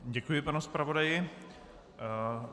Děkuji panu zpravodaji.